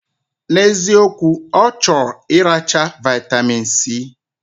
Na eziokwu, ochor iracha vitamin C.